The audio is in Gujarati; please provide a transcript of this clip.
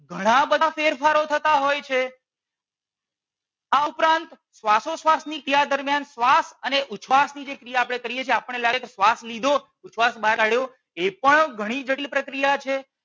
ઘણા બધા ફેરફારો થતાં હોય છે. આ ઉપરાંત શ્વાસોશ્વાસ ની ક્રિયા દરમિયાન શ્વાસ અને ઉશ્વાસ ની જે ક્રિયા કરીએ છીએ આપણને લાગે કે શ્વાસ લીધો ઉશ્વાસ બહાર કાઢ્યો એ પણ ઘણી જટિલ પ્રક્રિયા છે.